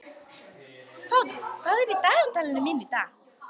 Fránn, hvað er í dagatalinu mínu í dag?